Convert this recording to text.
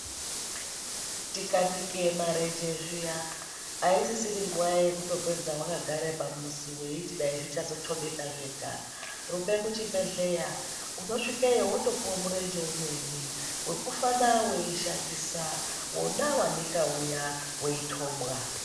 Tikanike marenje zviya, aisiri nguva yekutopedza wakagara pamuzi weiti dai zvichazothobeka zvega, rumbe kuchibhedhleya unosvikeyo wotopuwa murenje umweni wekufana weishandisa wona wanika uya weithobwa.